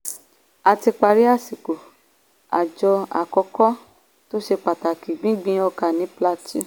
a ti parí àsìkò òjò àkọ́kọ́ tó ṣe pàtàkì gbíngbin ọkà ní plateau.